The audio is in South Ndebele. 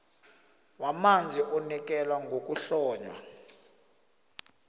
wamanzi unikela ngokuhlonywa